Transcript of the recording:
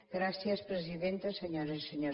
gràcies presidenta senyores i senyors diputats